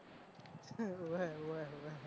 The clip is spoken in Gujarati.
હોવે હોવે હોવે